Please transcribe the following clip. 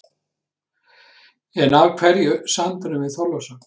En af hverju sandurinn við Þorlákshöfn?